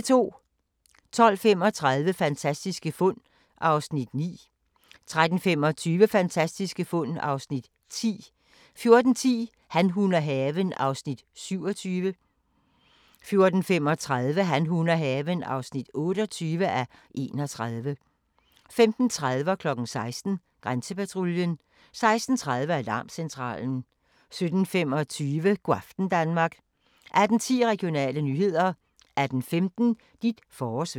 12:35: Fantastiske fund (Afs. 9) 13:25: Fantastiske fund (Afs. 10) 14:10: Han, hun og haven (27:31) 14:35: Han, hun og haven (28:31) 15:30: Grænsepatruljen 16:00: Grænsepatruljen 16:30: Alarmcentralen 17:25: Go' aften Danmark 18:10: Regionale nyheder 18:15: Dit forårsvejr